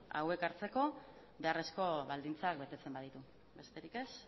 hauek hartzeko beharrezko baldintzak betetzen baditu besterik ez